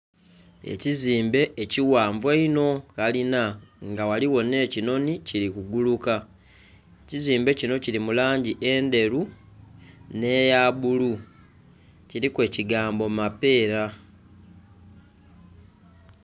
Ekizimbe ekighanvu einho kalina nga ghaligho nh'ekinhoni kili kuguluka. ekizimbe kino kiri mu langi endheru n'eya bulu kiliku ekigambo Mapeera